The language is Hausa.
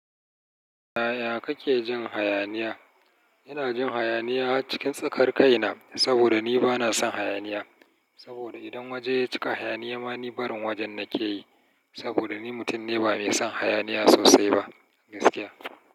Yaya kake jin hayaniya? Ina jin hayaniya cikin tsakar kaina, saboda ni bana son hayaniya. Saboda idan waje ya cika hayaniya, ma ni barin wajen nake yi. Saboda ni mutum ne ba mai son hayaniya sosai ba gaskiya.